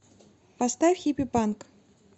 поставь хиппипанк